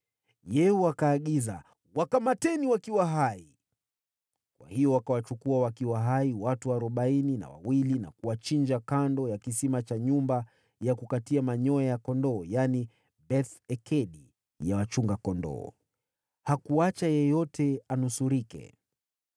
Yehu akaagiza, “Wakamateni wakiwa hai!” Kwa hiyo wakawachukua wakiwa hai, watu arobaini na wawili, na kuwachinja kando ya kisima cha Beth-Ekedi. Hakuacha yeyote anusurike.